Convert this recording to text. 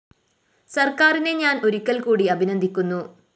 സര്‍ക്കാരിനെ ഞാന്‍ ഒരിക്കല്‍ക്കൂടി അഭിനന്ദിക്കുന്നു